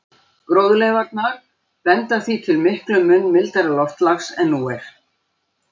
Gróðurleifarnar benda því til miklum mun mildara loftslags en nú er.